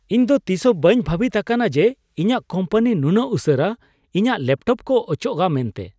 ᱤᱧ ᱫᱚ ᱛᱤᱥ ᱦᱚᱸ ᱵᱟᱹᱧ ᱵᱷᱟᱹᱵᱤᱛ ᱟᱠᱟᱱᱟ ᱡᱮ ᱤᱧᱟᱜ ᱠᱳᱢᱯᱟᱱᱤ ᱱᱩᱱᱟᱹᱜ ᱩᱥᱟᱹᱨᱟ ᱤᱧᱟᱜ ᱞᱮᱯᱴᱚᱯ ᱠᱚ ᱚᱪᱚᱜᱼᱟ ᱢᱮᱱᱛᱮ !